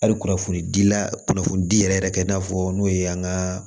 Hali kunnafoni dila kunnafoni di yɛrɛ yɛrɛ kɛ i n'a fɔ n'o ye an ka